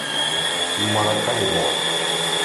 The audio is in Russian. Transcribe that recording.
маракайбо